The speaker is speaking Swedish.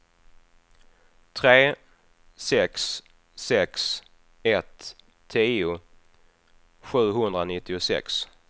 tre sex sex ett tio sjuhundranittiosex